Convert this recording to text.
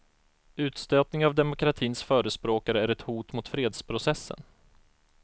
Utstötning av demokratins förespråkare är ett hot mot fredsprocessen.